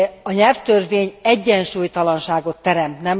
A nyelvtörvény egyensúlytalanságot teremt.